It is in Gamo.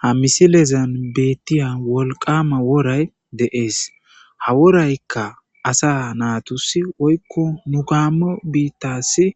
Ha misilezan beettiya wolqqaama woray de7ees. ha woraykka asa naatussi woykko nu gaammo biittaassi